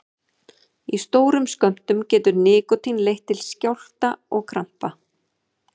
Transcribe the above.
Í stórum skömmtum getur nikótín leitt til skjálfta og krampa.